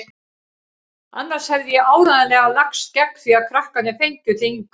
Annars hefði ég áreiðanlega lagst gegn því að krakkarnir fengju þig hingað.